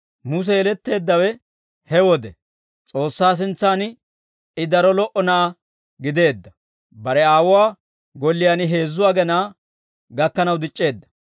«Muse yeletteeddawe he wode; S'oossaa sintsan I daro lo"o na'aa gideedda; bare aawuwaa golliyaan heezzu agenaa gakkanaw dic'c'eedda.